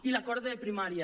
i l’acord de primària